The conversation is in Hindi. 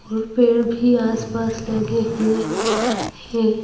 और पेड़ भी आसपास लगे हुए हैं।